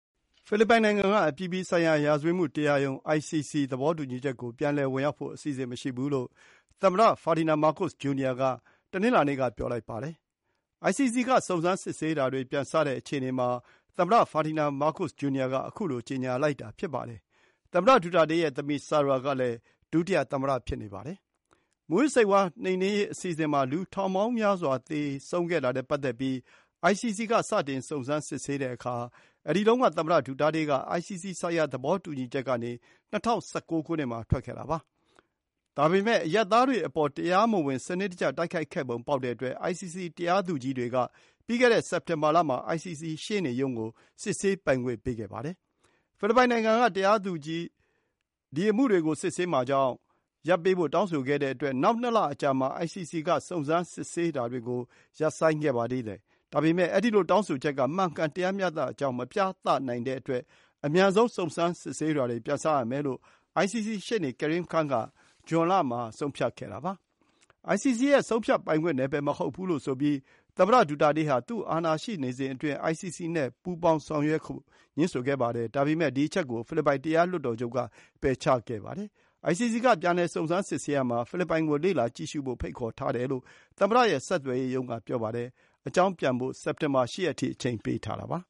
ဖိလစ်ပိုင်နိုင်ငံက အပြည်ပြည်ဆိုင်ရာ ရာဇဝတ်မှုခုံရုံး (ICC) သဘောတူညီချက် ကို ပြန်လည်ဝင်ရောက်ဖို့ အစီအစဉ်မရှိဘူးလို့ သမ္မတ Ferdinand Marcos Jr က တနင်္လာနေ့က ပြောလိုက်ပါတယ်။ ICC က စုံစမ်းစစ်ဆေးတာတွေ ပြန်စတဲ့ အခြေအနေမှာ သမ္မတ ဖာဒီန်မားကို့စ်အငယ်က ခုလို ကြေညာလိုက်တာ ဖြစ်ပါတယ်။ သမ္မတဒူတာတေးရဲ့သမီး ဆာရာကလည်း ဒုတိယသမ္မတ ဖြစ်နေပါတယ်။ မူးယစ်ဆေးဝါးနှိမ်နင်းရေးအစီအစဉ်မှာ လူ ထောင်ပေါင်းများစွာ သေခဲ့တာနဲ့ ပတ်သက်ပြီး ICC က စတင် စုံစမ်းစစ်ဆေးတဲ့အခါ အဲဒီတုန်းက သမ္မတ ဒူတာတေးက ICC ဆိုင်ရာ သဘောတူညီချက်ကနေ ၂၀၁၉ ခုနှစ်မှာ ထွက်ခဲ့တာပါ။ ဒါပေမယ့် အရပ်သားတွေအပေါ် တရားမဝင် စနစ်တကျ တိုက်ခိုက်ခဲ့ပုံ ပေါက်တဲ့အတွက် ICC တရားသူကြီးတွေက ပြီးခဲ့တဲ့ စက်တင်ဘာလမှာ ICC ရှေ့နေရုံးကို စစ်ဆေးပိုင်ခွင့် ပေးခဲ့ပါတယ်။ ဖိလစ်ပိုင်နိုင်ငံက ဒီ အမှုတွေကို စစ်ဆေးမှာကြောင့် ရပ်ပေးဖို့ တောင်းဆိုခဲ့တဲ့အတွက် နောက် ၂ လ အကြာမှာ ICC က စုံစမ်းစစ်ဆေးတာတွေကို ရပ်ဆိုင်းခဲ့ပါသေးတယ်။ ဒါပေမယ် အဲဒီလို တောင်းဆိုချက်က မှန်ကန်တရားမျှတကြောင်း မပြသနိုင်တဲ့အတွက် အမြန်ဆုံး စုံစမ်းစစ်ဆေးတာတွေ ပြန်စရမယ်လို့ ICC ရှေ့နေ Karim Khan က ဇွန်လ မှာ ဆုံးဖြတ်ခဲ့တာပါ။ ICC ရဲ့ ဆုံးဖြတ်ပိုင်ခွင့် နယ်ပယ် မဟုတ်ဘူးလို့ ဆိုပြီး သမ္မတဒူတာတေးဟာ သူ အာဏာရှိစဉ်အတွင်း ICC နဲ့ ပူးပေါင်းဆောင်ရွက် ဖို့ ငြင်းဆိုခဲ့ပါတယ်။ ဒါပေမယ့် ဒီ အချက်ကို ဖိလစ်ပိုင် တရားလွှတ်တော်ချုပ်က ပယ်ချခဲ့ပါတယ်။ ICC က ပြန်လည် စုံစမ်းစစ်ဆေးရာမှာ ဖိလစ်ပိုင်ကို လေ့လာကြည့်ရှုဖို့ ဖိတ် ခေါ်ထားတယ်လို့ သမ္မတရဲ့ ဆက်သွယ်ရေးရုံးက ပြောပါတယ်။ အကြောင်းပြန် ဖို့ စက်တင်ဘာ ၈ ရက်ထိ အချိန်ပေးထားတာပါ။